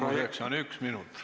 Küsimuseks on aega üks minut.